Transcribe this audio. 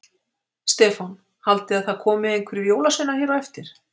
Stefán: Haldið þið að það komi einhverjir jólasveinar hér á eftir?